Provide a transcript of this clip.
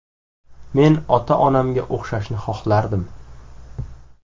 Men ota-onamga o‘xshashni xohlardim.